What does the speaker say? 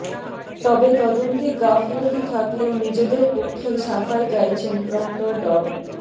তবে তদন্তে গাফলতি থাকলেও নিজেদের পক্ষেই সাফাই গাইছেন প্রক্টর ড